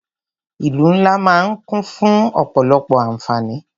Ìlú ńlá máà ń kún fún ọ̀pọ̀lọpọ̀ àǹfáání.